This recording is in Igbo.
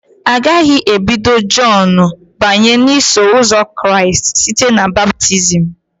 Agaghị ebido Jọn banye n'Iso Ụzọ Kraịst site na baptizim.